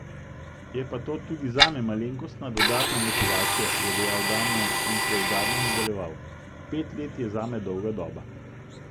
Je pa to tudi zame malenkostna dodatna motivacija," je dejal Damjan in preudarno nadaljeval: "Pet let je zame dolga doba.